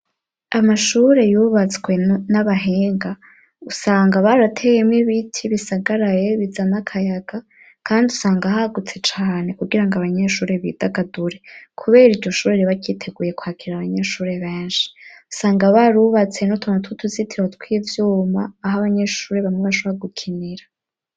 Amashure yubatswe n'abahega, usanga barateyemwo ibiti bisagaraye bizana akayaga kandi usanga hagutse cane kugirango abanyeshure bidagadure, kubera iryo shure riba ryiteguye kwakira abanyeshure benshi, usanga barubatse n'utuntu tw'utuzitiro tw'ivyuma aho abanyeshure bamwe bashoba gukinira.